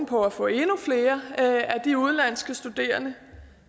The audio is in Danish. på at få endnu flere af de udenlandske studerende